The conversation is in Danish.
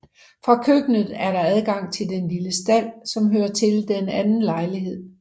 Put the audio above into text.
Fra køkkenet er der adgang til den lille stald som hører til den anden lejlighed